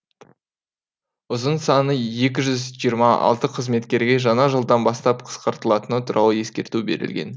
ұзын саны екі жүз жиырма алты қызметкерге жаңа жылдан бастап қысқартылатыны туралы ескерту берілген